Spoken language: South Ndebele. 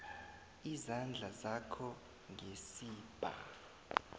izandla zakho ngesibha